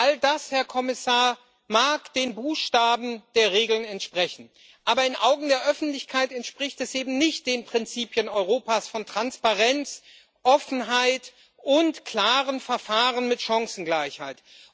All das, Herr Kommissar, mag den Buchstaben der Regeln entsprechen, aber in den Augen der Öffentlichkeit entspricht das eben nicht den Prinzipien Europas von Transparenz, Offenheit und klaren Verfahren mit Chancengleichheit.